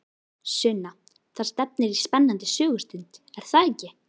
Sunna, það stefnir í spennandi sögustund, er það ekki?